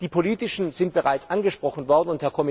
Die politischen sind bereits angesprochen worden.